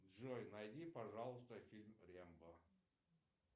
джой найди пожалуйста фильм рэмбо